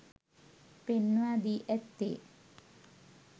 පෙන්වා දී ඇත්තේ